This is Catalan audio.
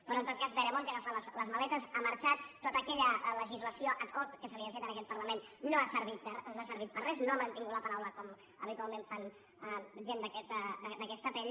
però en tot cas veremonte ha agafat les maletes ha marxat tota aquella legislació ad hocque se li havia fet en aquest parlament no ha servit de res no ha mantingut la paraula com habitualment fan gent d’aquesta pell